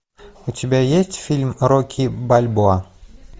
у тебя есть фильм рокки бальбоа